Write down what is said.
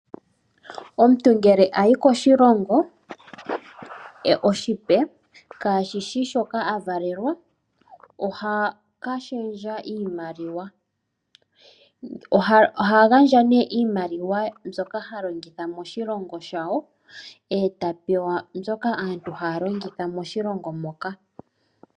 Omuntu ngele ayi koshilongo oshipe kashishi shoka avalelwa oha ka shendja iimaliwa. Oha gandja nee iimaliwa mbyoka ha longitha moshilongo shawo etapewa mbyoka hayi longithwa moshilongo moka.